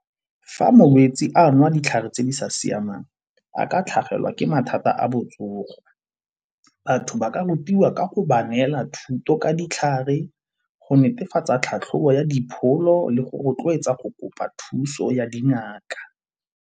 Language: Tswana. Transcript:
Fa molwetsi a nwa ditlhare tse di sa siamang a ka tlhagelwa ke mathata a botsogo. Batho ba ka rutiwa ka go ba neela thuto ka ditlhare, go netefatsa tlhatlhobo ya dipholo le go rotloetsa go kopa thuso ya dingaka.